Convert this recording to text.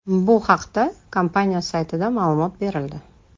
Bu haqda kompaniya saytida ma’lumot berildi .